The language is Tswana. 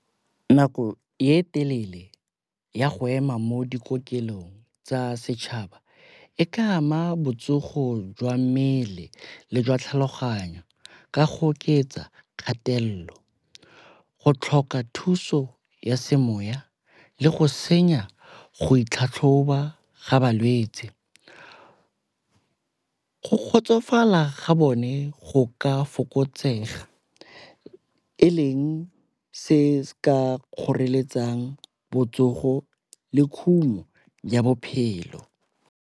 Nako e telele ya go ema mo dikokelong tsa setšhaba e ka ama botsogo jwa mmele le jwa tlhaloganyo ka go oketsa kgatelelo, go tlhoka thuso ya semoya le go senya go itlhatlhoba ga balwetse. Go kgotsofala ga bone go ka fokotsega e leng se se ka kgoreletsang botsogo le khumo ya bophelo.